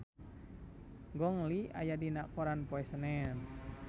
Gong Li aya dina koran poe Senen